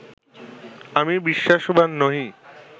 আমি বিশ্বাসবান্ নহি